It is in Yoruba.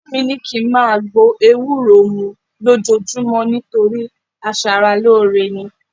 Ìyá mi ni ki n máa gbó ewúro mú lójoojúmọ́ nítorí aṣaralóore ni